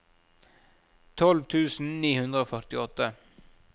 tolv tusen ni hundre og førtiåtte